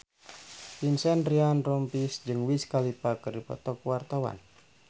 Vincent Ryan Rompies jeung Wiz Khalifa keur dipoto ku wartawan